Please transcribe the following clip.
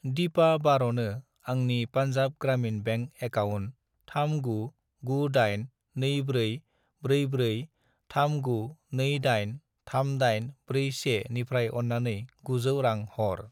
दिपा बार'नो आंनि Punjab Gramin bank account 3998244439283841 निफ्राय अन्नानै 900 रां हर।